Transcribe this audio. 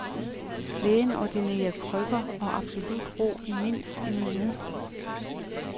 Lægen ordinerer krykker og absolut ro i mindst en uge.